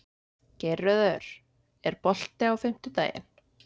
Geirröður, er bolti á fimmtudaginn?